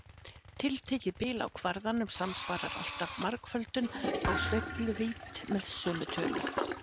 Tiltekið bil á kvarðanum samsvarar alltaf margföldun á sveifluvídd með sömu tölu.